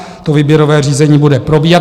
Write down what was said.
To výběrové řízení bude probíhat.